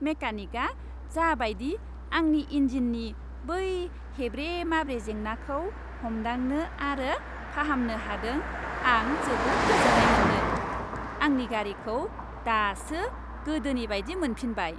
मेकानिकआ जा बायदि आंनि इनजिननि बै हेब्रे माब्रे जेंनाखौ हमदांनो आरो फाहामनो हादों, आं जोबोद गोजोन्नाय मोनदों, आंनि गारिखौ दासो गोदोनि बायदि मोनफिनबाय।